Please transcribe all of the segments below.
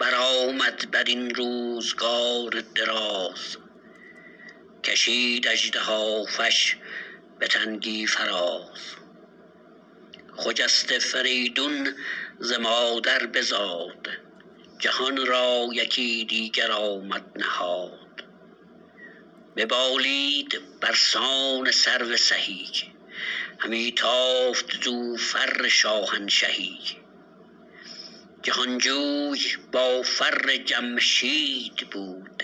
برآمد برین روزگار دراز کشید اژدهافش به تنگی فراز خجسته فریدون ز مادر بزاد جهان را یکی دیگر آمد نهاد ببالید برسان سرو سهی همی تافت زو فر شاهنشهی جهانجوی با فر جمشید بود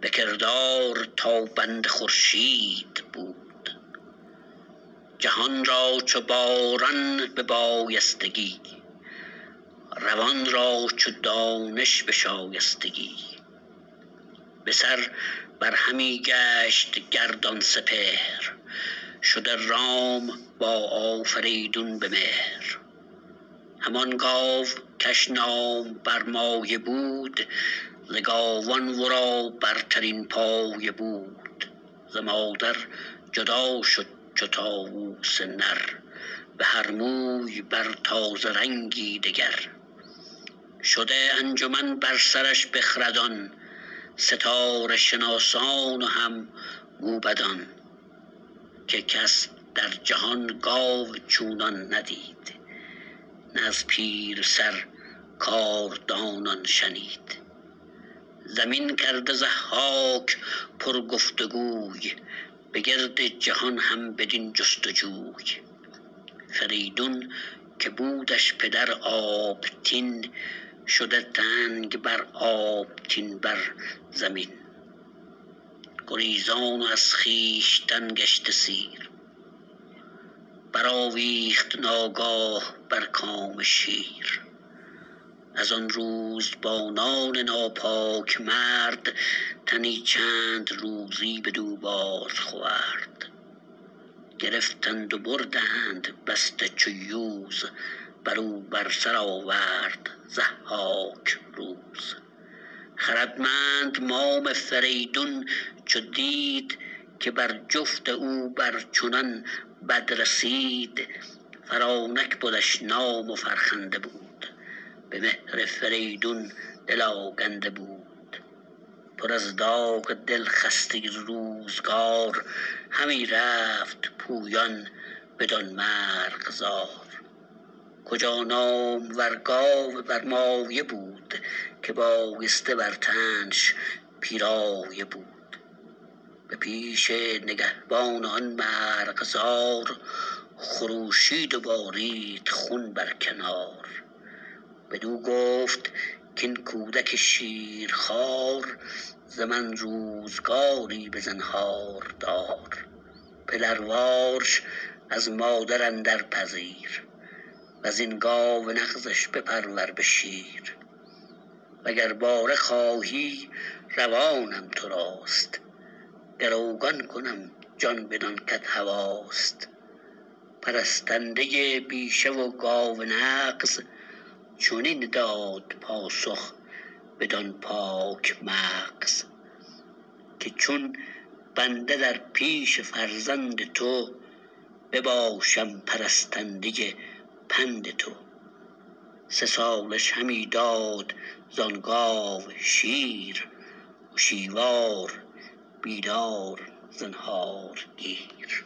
به کردار تابنده خورشید بود جهان را چو باران به بایستگی روان را چو دانش به شایستگی بسر بر همی گشت گردان سپهر شده رام با آفریدون به مهر همان گاو کش نام برمایه بود ز گاوان ورا برترین پایه بود ز مادر جدا شد چو طاووس نر بهر موی بر تازه رنگی دگر شده انجمن بر سرش بخردان ستاره شناسان و هم موبدان که کس در جهان گاو چونان ندید نه از پیرسر کاردانان شنید زمین کرده ضحاک پر گفت و گوی به گرد جهان هم بدین جست و جوی فریدون که بودش پدر آبتین شده تنگ بر آبتین بر زمین گریزان و از خویشتن گشته سیر برآویخت ناگاه بر کام شیر از آن روزبانان ناپاک مرد تنی چند روزی بدو باز خورد گرفتند و بردند بسته چو یوز برو بر سر آورد ضحاک روز خردمند مام فریدون چو دید که بر جفت او بر چنان بد رسید فرانک بدش نام و فرخنده بود به مهر فریدون دل آگنده بود پر از داغ دل خسته روزگار همی رفت پویان بدان مرغزار کجا نامور گاو برمایه بود که بایسته بر تنش پیرایه بود به پیش نگهبان آن مرغزار خروشید و بارید خون بر کنار بدو گفت کاین کودک شیرخوار ز من روزگاری بزنهار دار پدروارش از مادر اندر پذیر وزین گاو نغزش بپرور به شیر و گر باره خواهی روانم تراست گروگان کنم جان بدان کت هواست پرستنده بیشه و گاو نغز چنین داد پاسخ بدان پاک مغز که چون بنده در پیش فرزند تو بباشم پرستنده پند تو سه سالش همی داد زان گاو شیر هشیوار بیدار زنهارگیر